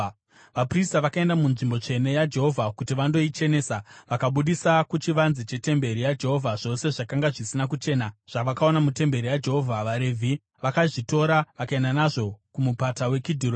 Vaprista vakaenda munzvimbo tsvene yaJehovha kuti vandoichenesa. Vakabudisa kuchivanze chetemberi yaJehovha zvose zvakanga zvisina kuchena zvavakaona mutemberi yaJehovha. VaRevhi vakazvitora vakaenda nazvo kuMupata weKidhironi.